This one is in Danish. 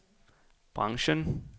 branchen